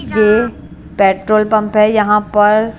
ये petrol pump है यहां पर --